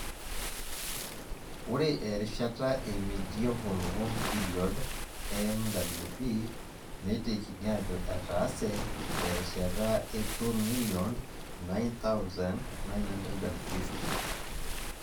Ore erishata e Medieval Warm Period[MWP] neitekini ajo etaase terishata e 2009950.